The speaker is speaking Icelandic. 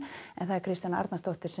Kristjana Arnarsdóttir